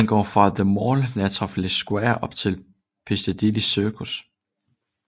Den går fra The Mall nær Trafalgar Square op til Piccadilly Circus